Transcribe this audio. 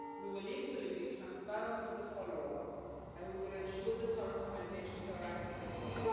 We will, equally, be transparent on the follow up, and we will ensure that our recommendations are acted upon.